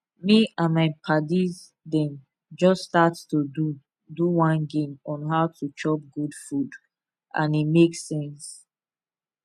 me and my padis dem just start to do do one game on how to chop good food and e make sense